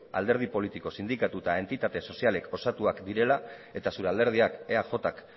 alderdi politiko sindikatu eta entitate sozialez osatuak direla eta zure alderdiak eajk